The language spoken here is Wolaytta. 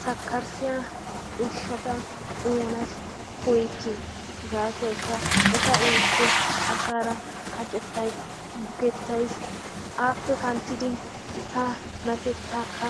Sakkarissiya ushshata uyanas koyyikke. Gaasoykka eta uyikko asaara kacettayis, bukettayis, aappe kanttidi tanatettaakka